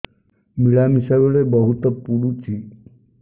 ମିଳାମିଶା ବେଳେ ବହୁତ ପୁଡୁଚି